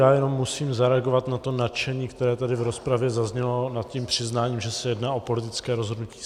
Já jenom musím zareagovat na to nadšení, které tady v rozpravě zaznělo nad tím přiznáním, že se jedná o politické rozhodnutí.